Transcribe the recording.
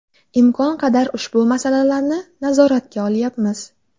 Imkon qadar ushbu masalalarni nazoratga olyapmiz.